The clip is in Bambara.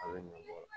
A bɛ ɲɔnkɔlɔ